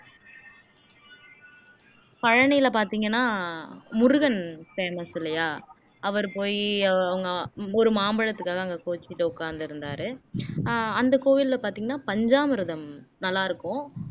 பழனியில பாத்தீங்கன்னா முருகன் famous இல்லையா அவர் போயி அவங்க ஒரு மாம்பழத்துக்காகதான் அங்க கோவிச்சுக்கிட்டு உட்கார்ந்திருந்தாரு அஹ் அந்த கோவில்ல பாத்தீங்கன்னா பஞ்சாமிர்தம் நல்லா இருக்கும்